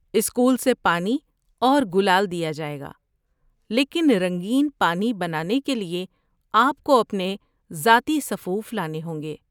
School سے پانی اور گلال دیا جائے گا، لیکن رنگین پانی بنانے کے لیے آپ کو اپنے ذاتی سفوف لانے ہوں گے۔